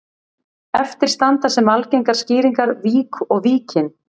Eftir standa sem algengar skýringar vík og Víkin.